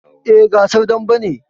Eh, gasar dambe ne